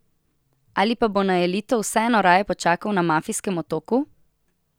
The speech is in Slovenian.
Ali pa bo na elito vseeno raje počakal na mafijskem otoku?